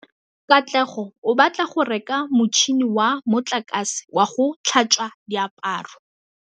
Katlego o batla go reka motšhine wa motlakase wa go tlhatswa diaparo.